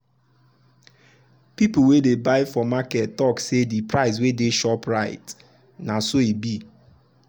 people wey dey buy for market talk say de price wey de shop write na so e be.